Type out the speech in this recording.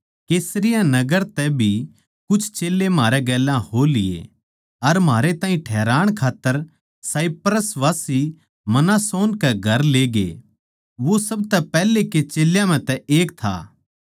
कैसरिया नगर तै भी कुछ चेल्लें म्हारै गेल्या हो लिए अर म्हारै ताहीं ठैहराण खात्तर कुप्रोसवासी मनासोन के घर ले गये वो सब तै पैहले के चेल्यां म्ह तै एक था